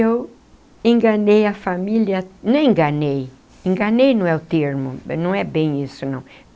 Eu enganei a família... nem enganei... enganei não é o termo... não é bem isso não.